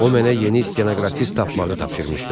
O mənə yeni stenoqrafist tapmağı tapşırmışdı.